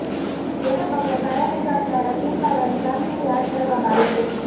જેને પગલે ફાયર વિભાગ ારા સીલ મારવાની કામગીરી હાથ ધરવામાં આવી છે